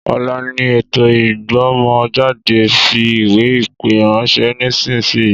Ọ̀la ni ètò ijbomo jade, fi ìwé ìpè ránṣẹ́ nísìsiyìí